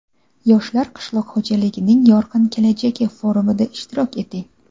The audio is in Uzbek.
"Yoshlar - qishloq xo‘jaligining yorqin kelajagi" forumida ishtirok eting!.